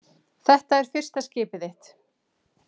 Þetta er fyrsta skipið þitt.